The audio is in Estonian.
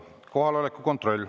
Kohaloleku kontroll.